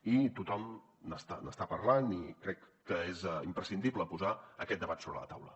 i tothom n’està parlant i crec que és imprescindible posar aquest debat sobre la taula